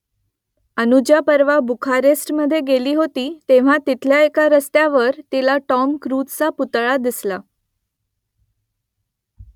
अनुजा परवा बुखारेस्टमधे गेली होती तेव्हा तिथल्या एका रस्त्यावर तिला टॉम क्रूझचा पुतळा दिसला